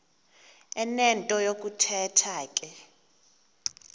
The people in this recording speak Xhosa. enento yokuthetha ke